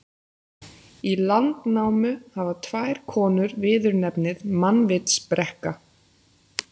Í Landnámu hafa tvær konur viðurnefnið mannvitsbrekka.